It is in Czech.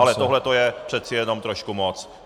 Ale tohle to je přece jenom trošku moc.